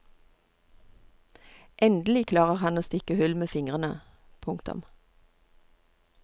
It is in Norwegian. Endelig klarer han å stikke hull med fingrene. punktum